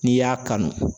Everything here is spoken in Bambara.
N'i y'a kanu